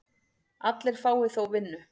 Allir fái þó vinnu.